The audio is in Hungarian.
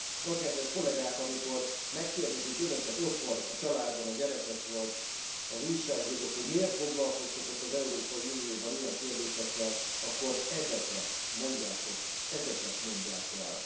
Na, kedves kollégák, amikor megkérdezik önöket otthon a családban a gyerekek vagy az újságírók, hogy miért foglalkoztok ott az Európai Unióban ilyen kérdésekkel, akkor ezeket mondjátok, ezeket mondják el.